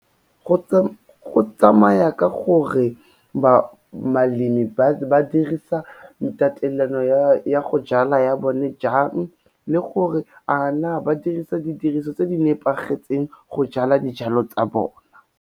Go tsamaya ka gore balemi ba dirisa tatelano ya go jala ya bone jang le gore a na ba dirisa didiriso tse di nepagetseng go jala dijalo tsa bona.